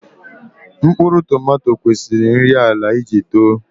Mkpụrụ tomato kwesiri nri ala iji too